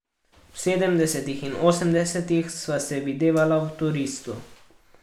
V sedemdesetih in osemdesetih sva se videvala v Turistu.